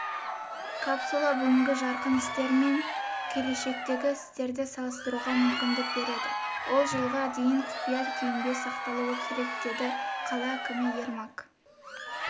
капсула бүгінгі жарқын істер мен келешектегі істерді салыстыруға мүмкіндік береді ол жылға дейін құпия күйінде сақталуы керек деді қала әкімі ермак